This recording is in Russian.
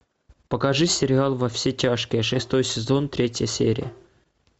покажи сериал во все тяжкие шестой сезон третья серия